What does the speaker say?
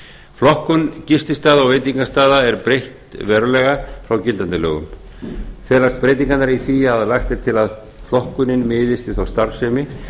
flokkun gististaða og veitingastaða er breytt verulega frá gildandi lögum felast breytingarnar í því að lagt er til að flokkunin miðist við þá starfsemi